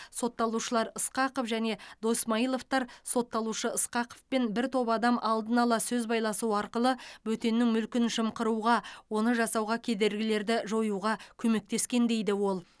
сотталушылар ысқақов және досмайыловтар сотталушы ысқақовпен бір топ адам алдын ала сөз байласуы арқылы бөтеннің мүлкін жымқыруға оны жасауға кедергілерді жоюға көмектескен дейді ол